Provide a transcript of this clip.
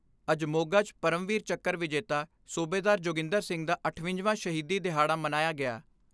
ਅੱਜ ਮੋਗਾ 'ਚ ਪਰਮਵੀਰ ਚੱਕਰ ਵਿਜੇਤਾ ਸੂਬੇਦਾਰ ਜੋਗਿੰਦਰ ਸਿੰਘ ਦਾ ਅਠਵੰਜਾ ਵਾਂ ਸ਼ਹੀਦੀ ਦਿਹਾੜਾ ਮਨਾਇਆ ਗਿਆ।